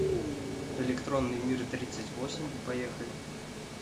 электронный мир тридцать восемь поехали